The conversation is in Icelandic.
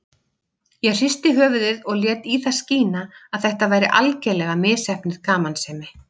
Ég hristi höfuðið og lét í það skína að þetta væri algerlega misheppnuð gamansemi.